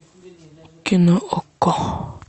кино окко